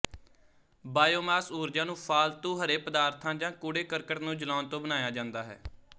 biomass ਊਰਜਾ ਨੂੰ ਫ਼ਾਲਤੂ ਹਰੇ ਪਦਾਰਥਾਂ ਜਾਂ ਕੂੜੇ ਕਰਕਟ ਨੂੰ ਜਲਾਉਣ ਤੋਂ ਬਣਾਇਆ ਜਾਂਦਾ ਹੈ